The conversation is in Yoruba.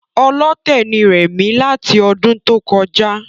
Ọlọ́tẹ̀ ni rẹ̀mí láti ọdún tó kọjá